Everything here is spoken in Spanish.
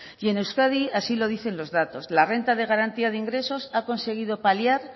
y en euskadi así lo dice los datos la renta de garantía de ingresos ha conseguido paliar